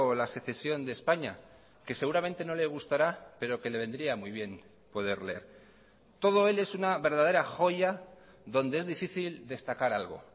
la secesión de españa que seguramente no le gustará pero que le vendría muy bien poder leer todo él es una verdadera joya donde es difícil destacar algo